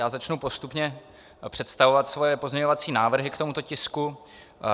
Já začnu postupně představovat svoje pozměňovací návrhy k tomuto tisku.